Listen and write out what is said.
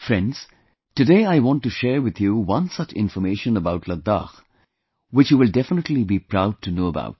Friends, today I want to share with you one such information about Ladakh which you will definitely be proud to know about